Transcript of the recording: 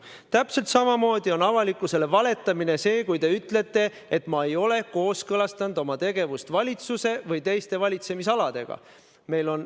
Täpselt samamoodi on avalikkusele valetamine see, kui te ütlete, et ma ei ole kooskõlastanud oma tegevust valitsuse või teiste valitsemisaladega.